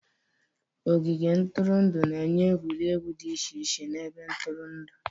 Ogige ntụrụndụ na-enye egwuregwu dị iche iche na ebe ntụrụndụ.